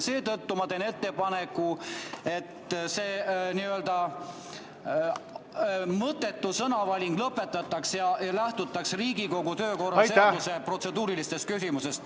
Seetõttu teen ettepaneku, et see mõttetu sõnavaling lõpetatakse ja lähtutakse Riigikogu töökorras sätestatud protseduurilistest küsimustest.